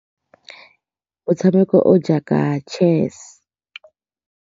Motshameko o o jaaka chess.